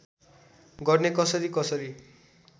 गर्ने कसरी कसरी